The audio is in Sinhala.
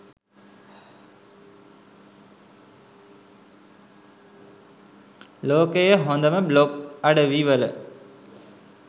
ලෝකයේ හොදම බ්ලොග් අඩවි වල